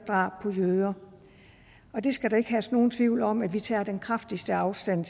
drab på jøder og det skal der ikke herske nogen tvivl om at vi tager den kraftigste afstand